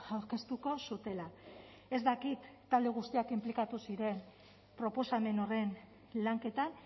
aurkeztuko zutela ez dakit talde guztiak inplikatu ziren proposamen horren lanketan